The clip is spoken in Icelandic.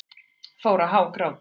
Fór að hágráta.